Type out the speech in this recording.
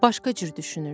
Başqa cür düşünürdü.